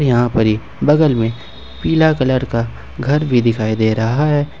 यहां पर ही बगल में पीला कलर का घर भी दिखाई दे रहा है।